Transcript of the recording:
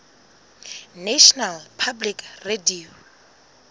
national public radio